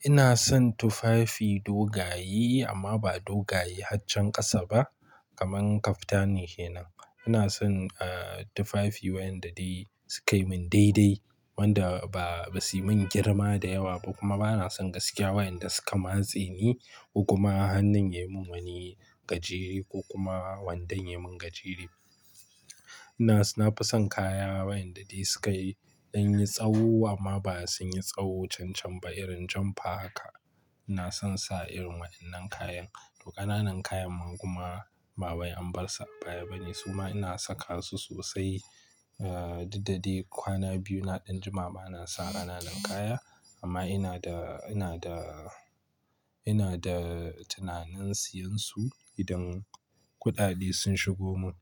ina son tufafi dogaye amma ba dogaye haccen ƙasa ba kamar kaftani kenan. Ina son tufafi wayanda dai su kai mun daidai wanda ba su yi mun girma da yawa ba kuma ba na son gaskiya wayanda suka matse ni ko kuma hannun ya mun wani gajeri ko kuma wandon ya mun gajeri. Ina nafi son kaya wayanda dai su ka dan yi tsawo amma ba su yi tsawo cancan ba irin jan parka. Ina son sa irin wa'innan kayan. Ƙananan kayan ma kuma ba wai an bar su a baya bane suma ina saka su sosai. Ah duk da dai kwana biyu na ɗan juma bana sa ƙananan kaya amma ina da, ina da, ina da tunanin siyan su idan kuɗaɗe sun shigo mun.